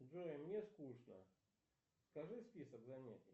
джой мне скучно скажи список занятий